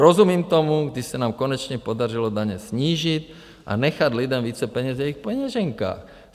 Rozumím tomu, když se nám konečně podařilo daně snížit a nechat lidem více peněz v jejich peněženkách.